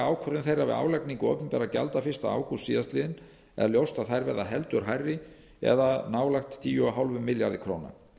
þeirra við álagningu opinberra gjalda fyrsta ágúst síðastliðinn er ljóst að þær verða heldur hærri eða nálægt tíu komma fimm milljarðar króna